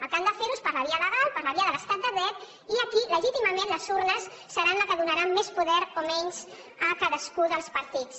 el que han de fer ho és per la via legal per la via de l’estat de dret i aquí legítimament les urnes seran les que donaran més poder o menys a cadascun dels partits